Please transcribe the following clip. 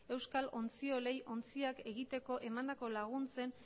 euskal ontziolei ontziak egiteko emandako laguntzen